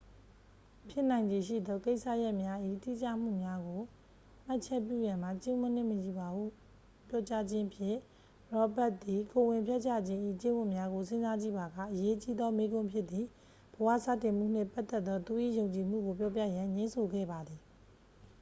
ဖြစ်နိုင်ခြေရှိသော ကိစ္စရပ်များ၏ တိကျမှုများကို မှတ်ချက်ပြုရန်မှာ ကျင့်ဝတ်နှင့်မညီပါဟု ပြောကြားခြင်းဖြင့် ရောဘတ်စ် သည် ကိုယ်ဝန်ဖျက်ချခြင်း၏ ကျင့်ဝတ်များကို စဉ်းစားကြည့်ပါက အရေးကြီးသော မေးခွန်းဖြစ်သည့် ဘဝစတင်မှုနှင့်ပတ်သက်သော သူ၏ယုံကြည်မှုကို ပြောပြရန် ငြင်းဆိုခဲ့ပါသည်